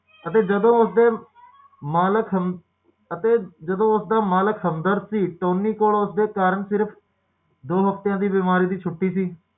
ਵਾਰ insurance ਸੱਤ ਵਾਰੀ ਬੀਮਾ ਕਰਾਉਂਦਾ ਹੈ